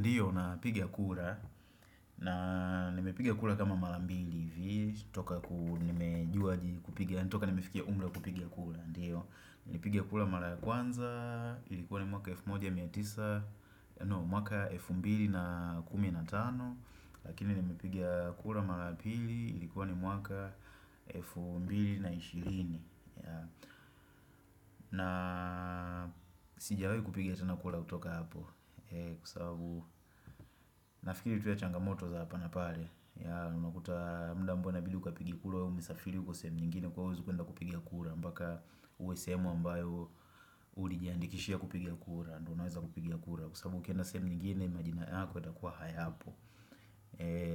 Ndiyo na piga kura na nimepiga kura kama mara mbili hivi toka nimefikia umla kupiga kura Ndiyo, nipige kura mara ya kwanza ilikuwa ni mwaka wa elfu moja miatisa No, mwaka 2015 Lakini nimepiga kura mara ya pili ilikuwa ni mwaka F2 na 20 na sijawai kupiga tena kura kutoka hapo Kwa sababu nafikiri tuya changamoto za hapa na pale ya unakuta mda ambao inabidi ukapige kura Umesafiri uko sehemu nyingine kwahio uwezi kuenda kupiga kura mpaka uwe sehemu ambayo ulijiandikishia kupiga kura Ndonaweza kupiga kura Kwa sababu ukienda sehemu nyingine majina yako itakuwa hayapo